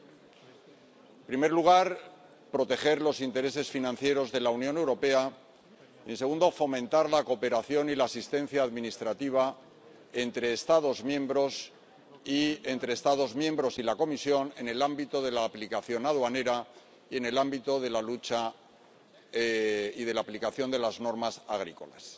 En primer lugar, proteger los intereses financieros de la Unión Europea y, en segundo lugar, fomentar la cooperación y la asistencia administrativa entre Estados miembros, y entre Estados miembros y la Comisión, en el ámbito de la aplicación aduanera y en el ámbito de la lucha y de la aplicación de las normas agrícolas.